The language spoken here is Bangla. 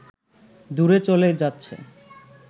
দুরে চলে যাচ্ছে